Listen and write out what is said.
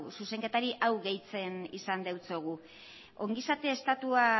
zuzenketari hau gehitzen izan diogu ongizate estatua